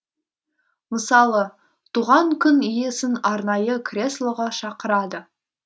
мысалы туған күн иесін арнайы креслоға шақырады